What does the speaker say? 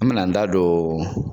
An mi n'an da don